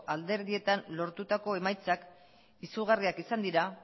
alderdietan lortutako emaitzak izugarriak izan dira